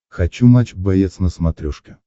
хочу матч боец на смотрешке